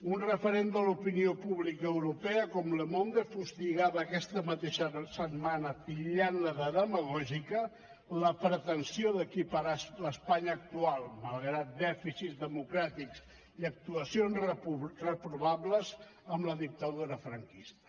un referent de l’opinió pública europea com le monde fustigava aquesta mateixa setmana titllant la de demagògica la pretensió d’equiparar l’espanya actual malgrat dèficits democràtics i actuacions reprovables amb la dictadura franquista